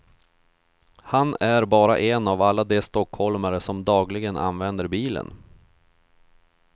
Han är bara en av alla de stockholmare som dagligen använder bilen.